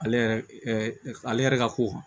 Ale yɛrɛ ale yɛrɛ ka ko kan